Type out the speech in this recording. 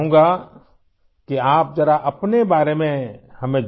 سب سے پہلے ، میں چاہتا ہوں کہ آپ ہمیں اپنے بارے میں بتائیں